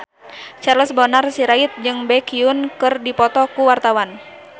Charles Bonar Sirait jeung Baekhyun keur dipoto ku wartawan